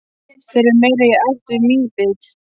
Þeir eru meira í ætt við mýbit.